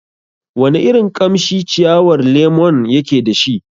Wana irin kamshi ciyawar lemon yake dashi?